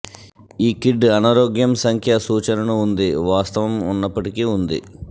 ఈ కిడ్ అనారోగ్యం సంఖ్య సూచనను ఉంది వాస్తవం ఉన్నప్పటికీ ఉంది